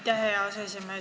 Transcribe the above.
Aitäh, hea aseesimees!